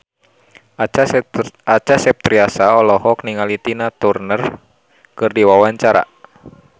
Acha Septriasa olohok ningali Tina Turner keur diwawancara